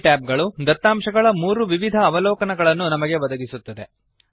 ಈ ಟ್ಯಾಬ್ ಗಳು ದತ್ತಾಂಶಗಳ 3 ವಿವಿಧ ಅವಲೋಕನಗಳನ್ನು ನಮಗೆ ಒದಗಿಸುತ್ತವೆ